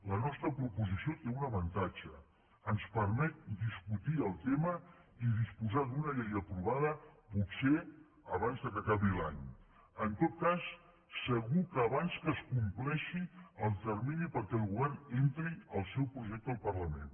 la nostra proposició té un avantatge ens permet discutir el tema i disposar d’una llei aprovada potser abans que acabi l’any en tot cas segur que abans que es com·pleixi el termini perquè el govern entri el seu projecte al parlament